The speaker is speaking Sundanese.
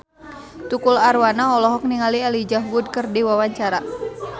Tukul Arwana olohok ningali Elijah Wood keur diwawancara